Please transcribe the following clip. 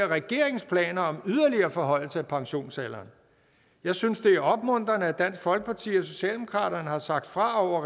regeringens planer om yderligere forhøjelse af pensionsalderen jeg synes det er opmuntrende at dansk folkeparti og socialdemokratiet har sagt fra